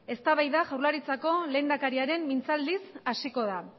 eztabaida jaurlaritzako lehendakariaren mintzaldiz hasiko da